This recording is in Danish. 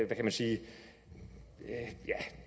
kan man sige ja